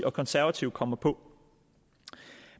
og konservative kommer på